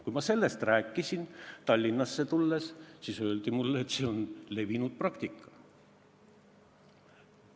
Kui ma sellest rääkisin, Tallinnasse tulles, siis öeldi mulle, et see on levinud praktika.